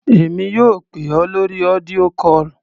Èmi yóò pè ọ́ lórí audio call.